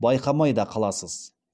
байқамай да қаласыз